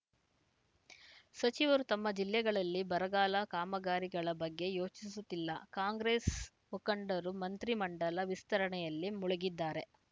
ಸಚಿವರು ತಮ್ಮ ಜಿಲ್ಲೆಗಳಲ್ಲಿ ಬರಗಾಲ ಕಾಮಗಾರಿಗಳ ಬಗ್ಗೆ ಯೋಚಿಸುತ್ತಿಲ್ಲ ಕಾಂಗ್ರೆಸ್‌ ಮುಖಂಡರು ಮಂತ್ರಿ ಮಂಡಲ ವಿಸ್ತರಣೆಯಲ್ಲಿ ಮುಳುಗಿದ್ದಾರೆ